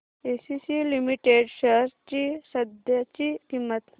ACC limited shares ची सध्याची किंमत